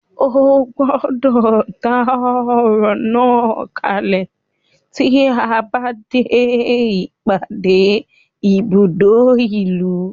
Ó gbọ́dọ̀ dá ọ̀rọ̀ náà kalẹ̀ tí a bá dé ìpàdé ní ibùdó ìlú.